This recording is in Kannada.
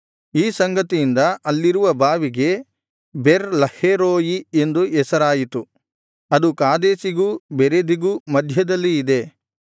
ಈ ಸಂಗತಿಯಿಂದ ಅಲ್ಲಿರುವ ಬಾವಿಗೆ ಬೆರ್ ಲಹೈರೋಯಿ ಎಂದು ಹೆಸರಾಯಿತು ಅದು ಕಾದೇಶಿಗೂ ಬೆರೆದಿಗೂ ಮಧ್ಯದಲ್ಲಿ ಇದೆ